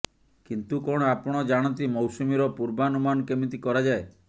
କିନ୍ତୁ କଣ ଆପଣ ଜାଣନ୍ତି ମୌସୁମୀର ପୂର୍ବାନୁମାନ କେମିତି କରାଯାଏ